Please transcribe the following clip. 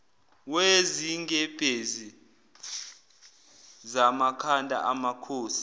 wezingebhezi zamakhanda amakhosi